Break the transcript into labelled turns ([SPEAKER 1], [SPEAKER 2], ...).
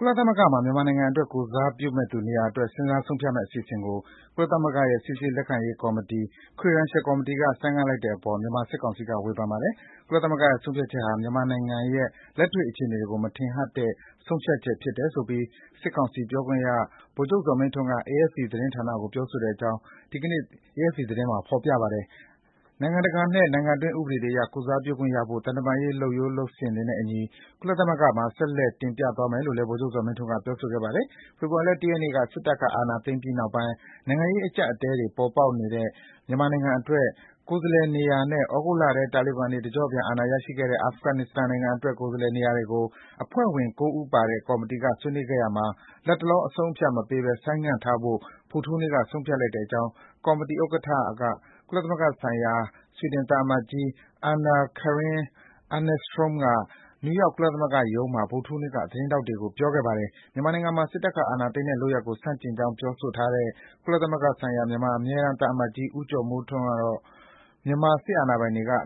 [SPEAKER 1] ကုလသမဂ္ဂမှာ မြန်မာနိုင်ငံ ကိုယ်စားပြုမယ့်သူနေရာအတွက် စဉ်းစားဆုံးဖြတ်မယ့် အစီအစဉ်ကို ကုလသမဂ္ဂ၊ စိစစ်လက်ခံရေးကော်မတီ (Credentials Committee) က ဆိုင်းငံ့လိုက်တဲ့အပေါ် မြန်မာစစ်ကောင်စီက ပြစ်တင်ဝေဖန်လိုက်ပါတယ်။ ကုလသမဂ္ဂရဲ့ လုပ်ဆောင်ချက်ဟာ မြန်မာနိုင်ငံရဲ့ လက်တွေ့အခြေအနေတွေကို မထင်ဟပ်တဲ့ ဆုံးဖြတ်ချက် ဖြစ်တယ်ဆိုပြီး စစ်ကောင်စီပြောခွင့်ရ ဗိုလ်ချုပ်ဇော်မင်းထွန်းက AFP သတင်းဌာနကို ပြောဆိုတဲ့အကြောင်း ဒီကနေ့ AFP သတင်းမှာ ဖော်ပြထားပါတယ်။ နိုင်ငံတကာနဲ့ နိုင်ငံတွင်း ဥပဒေတွေအရ ကိုယ်စားပြုခွင့်ရဖို့ သံတမန်ရေး လုပ်ထုံးလုပ်နည်းတွေနဲ့အညီ ကုလသမဂ္ဂမှာ ဆက်လက် တင်ပြသွားမယ်လို့လည်း ဗိုလ်ချုပ်ဇော်မင်းထွန်းက ပြောပါတယ်။ ဖေဖော်ဝါရီလ ၁ ရက်နေ့ စစ်အာဏာသိမ်းပြီးနောက်ပိုင်း နိုင်ငံရေးအကျပ်အတည်းတွေ ပေါ်ပေါက်နေတဲ့ မြန်မာနိုင်ငံအတွက် ကိုယ်စားလှယ်နေရာနဲ့ သြဂုတ်လထဲ တာလီဘန်တွေ တကျော့ပြန်အာဏာရခဲ့တဲ့ အာဖဂန်နစ္စတန်နိုင်ငံအတွက် ကိုယ်စားလှယ်နေရာတွေကို အဖွဲ့ဝင် ၉ ဦး ပါတဲ့ကော်မတီမှာ ဆွေးနွေးရာမှာ လတ်တလော ယတိပြတ်အဆုံးအဖြတ်မပေးဘဲ ဆိုင်းငံ့ထားဖို့ ဗုဒ္ဓဟူးနေ့က ဆုံးဖြတ်လိုက်တဲ့အကြောင်း ကော်မတီဥက္ကဋ္ဌ ကုလသမဂ္ဂဆိုင်ရာ ဆွီဒင်သံအမတ်ကြီး Anna Karin Eneström နယူးယောက် ကုလသမဂ္ဂ ရုံးချုပ်မှာ ဗုဒ္ဓဟူးနေ့က သတင်းထောက်တွေကို ပြောခဲ့တာပါ။ မြန်မာနိုင်ငံမှာ စစ်အာဏာသိမ်းတဲ့လုပ်ရပ်ကို ဆန့်ကျင်ကြောင်း ပြောဆိုထားတဲ့ ကုလသမဂ္ဂဆိုင်ရာ မြန်မာအမြဲတမ်း သံအမတ်ကြီး ဦးကျော်မိုးထွန်းကိုတော့ စစ်ကောင်စီက